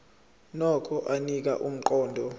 nokho anika umqondo